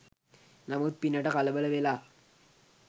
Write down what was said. නමුත් පිනට කලබල වෙලා